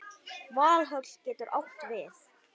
Valhöll getur átt við